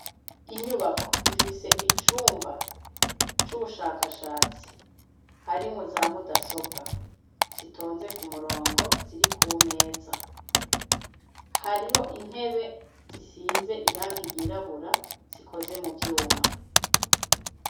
Inyubako ifise icumba c'ubushakashatsi harimwo za mudasobwa zitonze kumurongo ziri kumeza, hariho intebe zisize irangi ryirabura zikoze muvyuma.